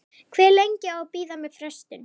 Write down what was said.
Hve lengi á að bíða með frestun?